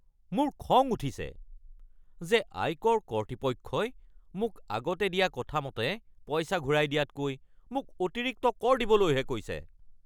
মোৰ খং উঠিছে যে আয়কৰ কৰ্তৃপক্ষই মোক আগতে দিয়া কথা মতে পইচা ঘূৰাই দিয়াতকৈ মোক অতিৰিক্ত কৰ দিবলৈহে কৈছে। (মই)